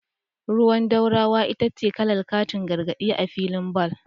Ruwan dorawa ita ce kalar katin gargadi a filin bal.